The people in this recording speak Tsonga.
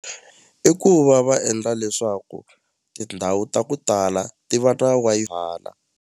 I ku va va endla leswaku tindhawu ta ku tala ti va na .